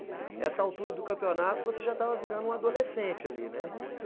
Essa altura do campeonato você já estava virando um adolescente ali, né?